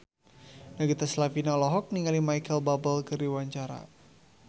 Nagita Slavina olohok ningali Micheal Bubble keur diwawancara